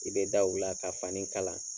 I bɛ da u la ka fani kala